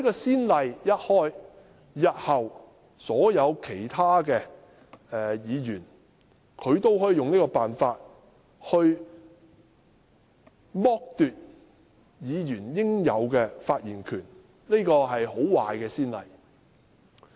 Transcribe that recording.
此例一開，日後其他議員也可以此方式剝奪議員應有的發言權，這是很壞的先例。